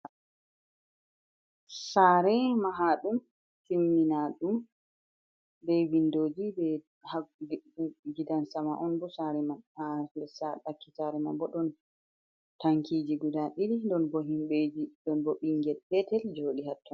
Sare mahaɗum, Timmina ɗum be vindoji be ha Gidan sama'onbo. Sare man haha Nder ha ɗakki Sare manbo ɗon Tankiji guda ɗiɗi ɗonbo himbeji ɗon bo Ɓingel betel joɗi hatton.